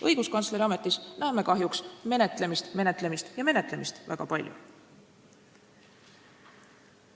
Õiguskantsleri ametis näeme kahjuks menetlemist, menetlemist ja menetlemist väga palju.